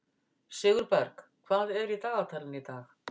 Sigurberg, hvað er í dagatalinu í dag?